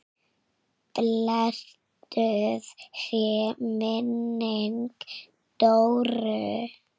Blessuð sé minning Dóru.